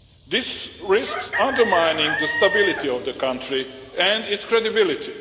This risks undermining the stability of the country and its credibility.